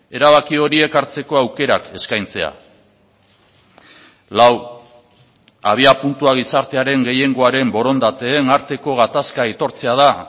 erabaki horiek hartzeko aukerak eskaintzea lau abiapuntua gizartearen gehiengoaren borondateen arteko gatazka aitortzea da